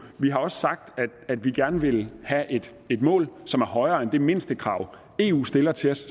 vi har også sagt at vi gerne vil have et mål som er højere end det mindstekrav eu stiller til os